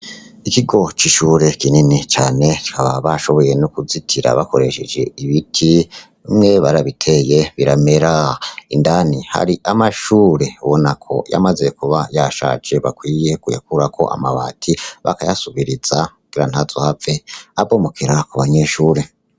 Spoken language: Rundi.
Ikigo c'ishure kinini cane bashoboye nokuzitira bakoresheje ibiti, bimwe barabiteye biramera, indani hari amashure yamaze kuba yashaje ,bakwiye kuyakurako amabati bagasubiriza kugira ntazohave abomokera ku banyeshure.